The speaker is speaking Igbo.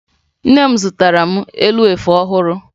Nne m zụtara m elu efe ọhụrụ